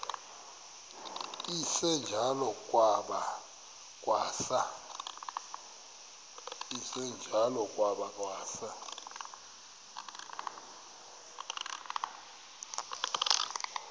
esinjalo kwada kwasa